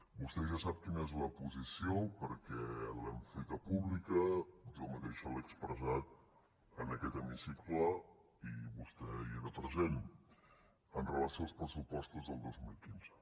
vostè ja sap quina és la posició perquè l’hem feta pública jo mateix l’he expressat en aquest hemicicle i vostè hi era present amb relació als pressupostos del dos mil quinze